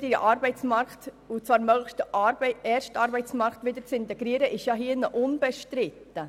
den – wenn möglich ersten – Arbeitsmarkt zu integrieren, ist hier unbestritten.